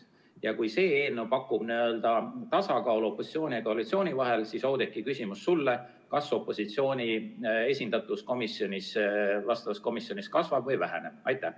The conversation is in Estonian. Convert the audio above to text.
Ja kui see eelnõu pakub tasakaalu opositsiooni ja koalitsiooni vahel, siis, Oudekki, küsimus sulle: kas opositsiooni esindatus vastavas komisjonis kasvab või väheneb?